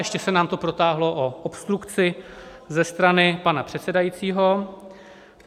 Ještě se nám to protáhlo o obstrukci ze strany pana předsedajícího.